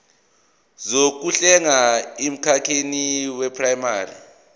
zokuhlenga emkhakheni weprayimari